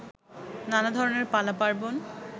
নানা ধরনের পালা-পার্বণ